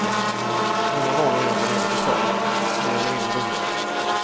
Mina vanor är av varierande slag, mer eller mindre roliga.